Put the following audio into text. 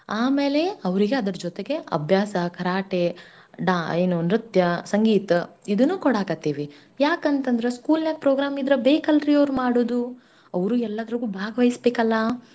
ಆಮೇಲೆ ಅವ್ರಿಗೆ ಅದ್ರ್ ಜೊತೆಗೆ ಅಬ್ಯಾಸ, ಕರಾಟೆ ಡಾ~ ಏನು ನೃತ್ಯ, ಸಂಗೀತ ಇದುನ್ನೂ ಕೊಡಾಕತ್ತೀವಿ ಯಾಕಂತಂದ್ರ school ನಾಗ್ program ಇದ್ರ ಬೇಕಲ್ರೀ ಅವ್ರ್ ಮಾಡೂದೂ. ಅವ್ರೂ ಎಲ್ಲದ್ರಾಲ್ಲೂ ಭಾಗ್ ವೈಸ್ಬೇಕಲ್ಲಾ.